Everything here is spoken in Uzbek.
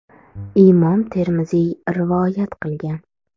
(Imom Termiziy rivoyat qilgan).